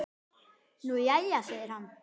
Nú jæja segir hann.